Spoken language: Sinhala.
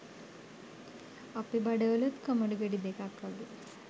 අපෙ බඩවලුත් කොමඩු ගෙඩි දෙකක් වගේ